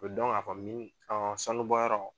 O a kɔni min kan sanu bɔyɔrɔ